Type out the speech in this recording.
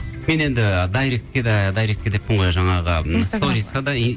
мен енді дайректке де дайркетке деппін ғой жаңағы сторизқа да